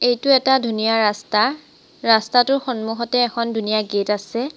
এইটো এটা ধুনীয়া ৰাস্তা ৰাস্তাটোৰ সন্মুখতে এখন ধুনীয়া গেট আছে।